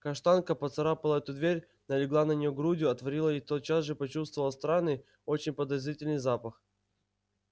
каштанка поцарапала эту дверь налегла на неё грудью отворила и тотчас же почувствовала странный очень подозрительный запах